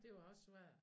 Det var også svært